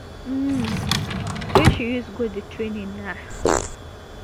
um wey she use go di training na